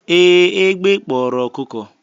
ee, egbe kporo okuko.